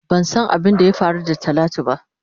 Ban san abin da ya Kari da talatu ba.